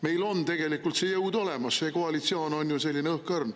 Meil on tegelikult see jõud olemas, koalitsioon on ju õhkõrn.